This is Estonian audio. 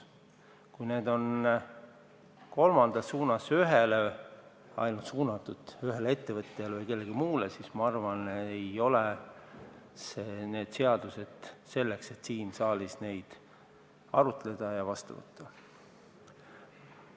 Kui need on ainult ühele suunatud, ühele ettevõtjale või kellelegi muule, siis ma arvan, et need ei ole seadused, mida siin saalis arutada ja vastu võtta tuleks.